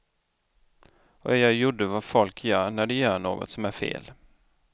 Och jag gjorde vad folk gör när de gör något som är fel.